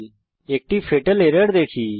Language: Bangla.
আমরা একটি ফাতাল এরর দেখি